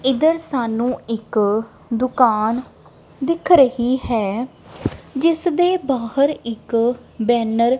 ਇਧਰ ਸਾਨੂੰ ਇੱਕ ਦੁਕਾਨ ਦਿਖ ਰਹੀ ਹੈ ਜਿਸ ਦੇ ਬਾਹਰ ਇੱਕ ਬੈਨਰ --